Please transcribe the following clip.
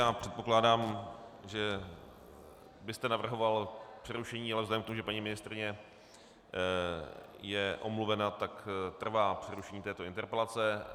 Já předpokládám, že byste navrhoval přerušení, ale vzhledem k tomu, že paní ministryně je omluvena, tak trvá přerušení této interpelace.